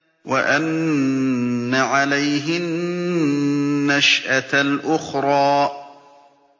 وَأَنَّ عَلَيْهِ النَّشْأَةَ الْأُخْرَىٰ